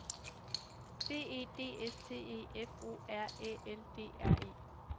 B E D S T E F O R Æ L D R E